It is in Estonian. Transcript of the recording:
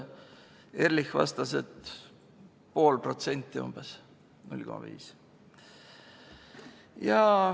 Ehrlich vastas, et pool protsenti umbes, 0,5.